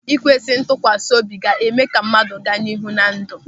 Ikwesị ntụkwasị obi ga-eme ka mmadụ gaa n'ihu na ndụ.